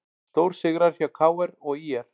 Stórsigrar hjá KR og ÍR